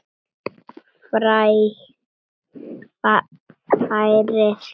Færið kjötið yfir á disk.